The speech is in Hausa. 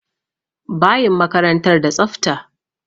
Bayin makarantar da tsafta.